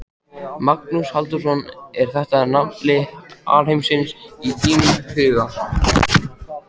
Magnús Halldórsson: Er þetta nafli alheimsins í þínum huga, Suðurlandið?